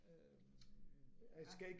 Øh ja